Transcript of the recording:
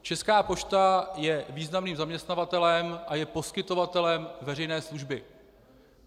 Česká pošta je významným zaměstnavatelem a je poskytovatelem veřejné služby.